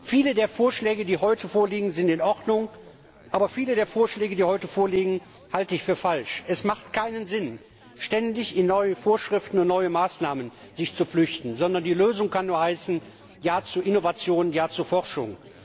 Viele der Vorschläge, die heute vorliegen, sind in Ordnung, aber viele davon halte ich für falsch. Es macht keinen Sinn, sich ständig in neue Vorschriften und neue Maßnahmen zu flüchten, sondern die Lösung kann nur heißen Ja zu Innovation, Ja zu Forschung.